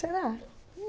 Será?